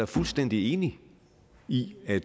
fuldstændig enig i at